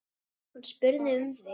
Hún spurði um þig.